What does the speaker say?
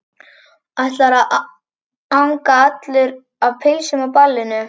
Ætlarðu að anga allur af pylsum á ballinu?